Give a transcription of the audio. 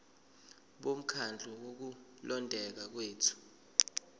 bomkhandlu wokulondeka kwethu